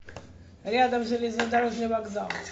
рядом железнодорожный вокзал